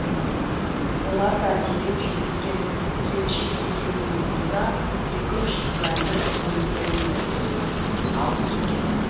олар да дереу жетіп келіп келіншек екеуімен қоса екі үш куәні көліктеріне отырғызып алып кетеді